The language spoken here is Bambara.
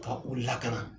Ka u lakana